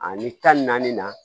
Ani tan naani na